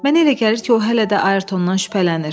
Mənə elə gəlir ki, o hələ də Ayertondan şübhələnir.